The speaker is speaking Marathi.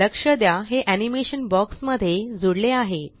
लक्ष द्या हे एनीमेशन बॉक्स मध्ये जूडले आहे